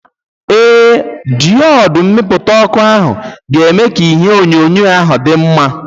Ee, diodu mmipụta ọkụ ahụ ga-eme ka ihe onyonyo ahụ dị mma.